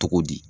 Cogo di